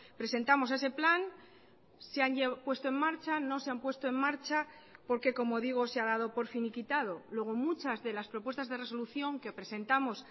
presentamos ese plan se han puesto en marcha no se han puesto en marcha porque como digo se ha dado por finiquitado luego muchas de las propuestas de resolución que presentamos